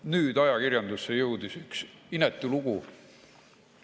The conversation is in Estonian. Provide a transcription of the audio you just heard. Nüüd jõudis ajakirjandusse üks inetu lugu.